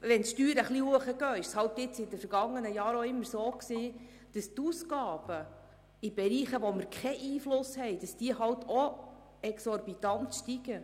In den vergangenen Jahren war es so, dass dann, wenn die Steuern wieder stiegen, die Ausgaben in Bereichen, wo wir keinen Einfluss hatten, auch exorbitant angestiegen.